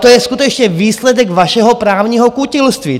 To je skutečně výsledek vašeho právního kutilství.